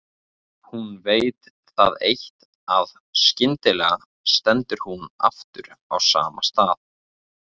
Hún veit það eitt að skyndilega stendur hún aftur á sama stað.